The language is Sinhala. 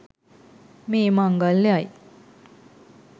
මේ මංගල්‍යයයි.